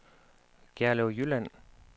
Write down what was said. Gjerlev Jylland